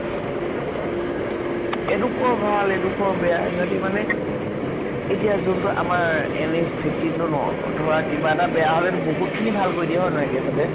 এডোখৰ ভাল এডোখৰ বেয়া সিহঁতি মানে এতিয়া যোনটো আমাৰ NH fifteen টো ন, ধৰা কিবা এটা বেয়া হলেটো বহুত খিনি ভাল কৰি দিয়ে হয় নহয় হতে